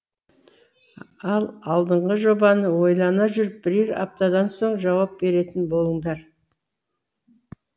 ал алдынғы жобаны ойлана жүріп бірер аптадан соң жауап беретін болыңдар